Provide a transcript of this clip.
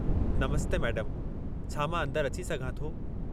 नमस्ते मैडमु, छा मां अंदरि अची सघां थो?